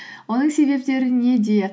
оның себептері неде